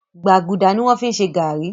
Gbàgùdà ni wọ́n fi ń ṣe gàárì